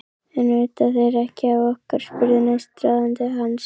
En vita þeir ekki af okkur? spurði næstráðandi hans.